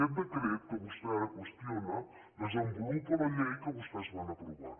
aquest decret que vostè ara qües tiona desenvolupa la llei que vostès van aprovar